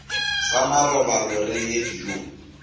sa marobalo re ye dijong